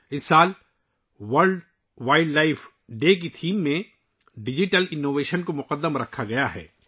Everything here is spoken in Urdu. اس سال ورلڈ وائلڈ لائف ڈے کے موضوع میں ڈیجیٹل انوویشن کو سب سے زیادہ اہمیت دی گئی ہے